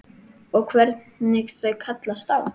Og hvernig þau kallast á.